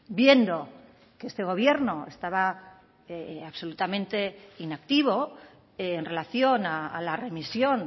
viendo que este gobierno estaba absolutamente inactivo en relación a la remisión